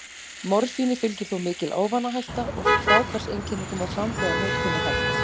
Morfíni fylgir þó mikil ávanahætta, og fráhvarfseinkenni koma fram þegar notkun er hætt.